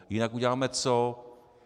Jinak uděláme co?